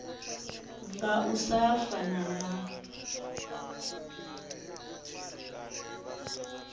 nga u sa fana na